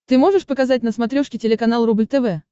ты можешь показать на смотрешке телеканал рубль тв